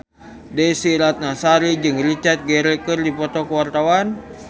Desy Ratnasari jeung Richard Gere keur dipoto ku wartawan